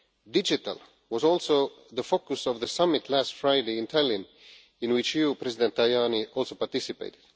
Digital was also the focus of the summit last Friday in Tallinn in which you, President Tajani, also participated.